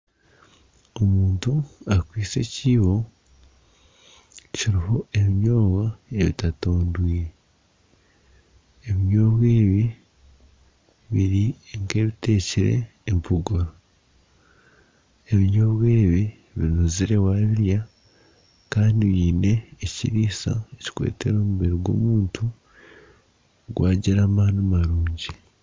Omuntu akwaitse ekibo kiriho ebinyobwa ebitatondwire ebinyobwa ebi biri nk'ebiteekire empogoro ,ebinyobwa ebi binuzire wabirya kandi biine ekiriisa ekirikuretera omubiri gw'omuntu gwagira amaani marungi.